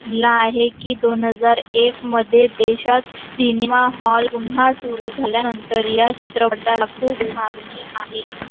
दिल आहे की दोन हजार एक मध्ये देशात cinema hall पुन्हा सुरू झाला नंतर या चित्रपटाला खूप मागणी आहे